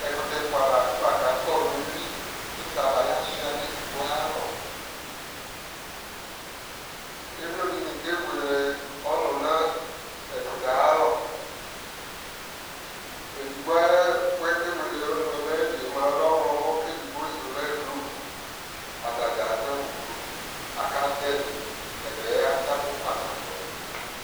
ɛkutɛ ɛfoa lafa ko akɔ no uwi ko sabaya sua no edigbo ayi alɔ emlo dini kewele ɔnu no ɛkutɛ ayi alɔ edigbo ayi ɛkuɛ ku okewele ɔnuɛ no ayili lɛ ɔwlɔmɔ ko edigbo su lɛ blue, atadza ado awu blue aka do ɛdi, ɛbɛ atsafu kpanaboɛ